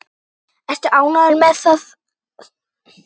Ertu ánægður með þá þróun?